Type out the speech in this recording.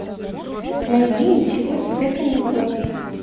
найди ничего себе каникулы